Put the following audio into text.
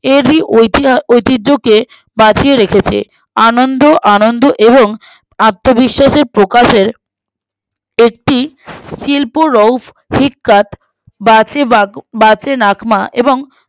এদি ঐতিহা ঐতিহ্যকে বাঁচিয়ে রেখেছে আনন্দ আনন্দ এবং আত্মবিশ্বাসের প্রকাশের একটি শিল্পোরফ ইক্কাত বাশেবাক বাসেনাকমা এবং